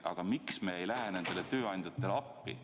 Aga miks me ei lähe nendele tööandjatele appi?